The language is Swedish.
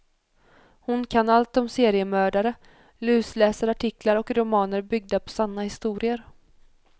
Hon kan allt om seriemördare, lusläser artiklar och romaner byggda på sanna historier.